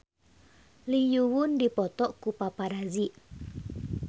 Lee Yo Won dipoto ku paparazi